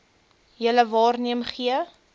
julle waarneem gee